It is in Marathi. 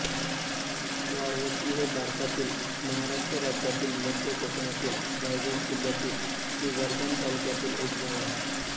वाळवटी हे भारतातील महाराष्ट्र राज्यातील मध्य कोकणातील रायगड जिल्ह्यातील श्रीवर्धन तालुक्यातील एक गाव आहे